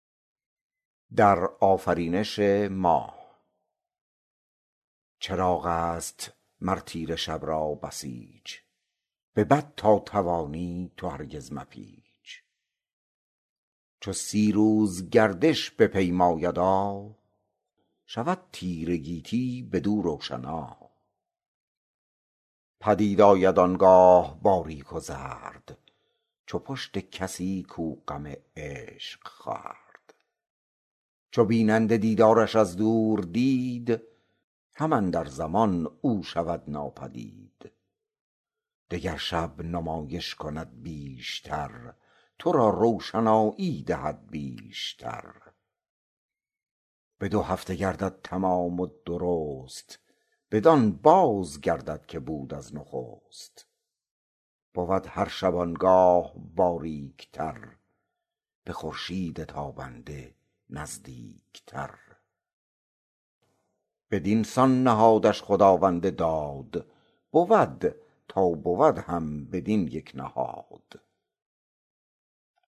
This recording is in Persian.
چراغ است مر تیره شب را بسیچ به بد تا توانی تو هرگز مپیچ چو سی روز گردش بپیمایدا شود تیره گیتی بدو روشنا پدید آید آنگاه باریک و زرد چو پشت کسی کو غم عشق خورد چو بیننده دیدارش از دور دید هم اندر زمان او شود ناپدید دگر شب نمایش کند بیش تر تو را روشنایی دهد بیش تر به دو هفته گردد تمام و درست بدان باز گردد که بود از نخست بود هر شبانگاه باریک تر به خورشید تابنده نزدیک تر بدینسان نهادش خداوند داد بود تا بود هم بدین یک نهاد